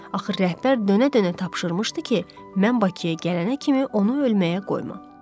Axı rəhbər dönə-dönə tapşırmışdı ki, mən Bakıya gələnə kimi onu ölməyə qoyma.